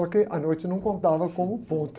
Só que a noite não contava como ponto.